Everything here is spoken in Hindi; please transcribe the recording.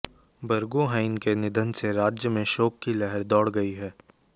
बरगोहाईं के निधन से राज्य में शोक की लहर दौड़ गयी है